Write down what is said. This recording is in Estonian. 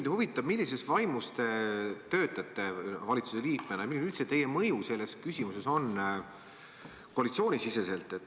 Mind huvitab, millises vaimus te töötate valitsuse liikmena ja milline on üldse teie mõju selles küsimuses koalitsioonisiseselt.